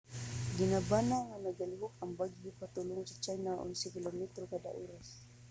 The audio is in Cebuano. gibanabana nga nagalihok ang bagyo padulong sa china sa onse kilometros kada oras